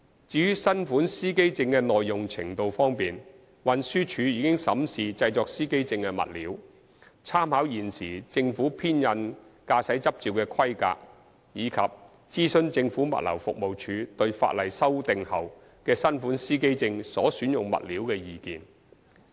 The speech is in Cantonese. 至於新款司機證的耐用程度方面，運輸署已審視製作司機證的物料、參考現時政府編印駕駛執照的規格，以及諮詢政府物流服務署對法例修訂後的新款司機證所選用物料的意見。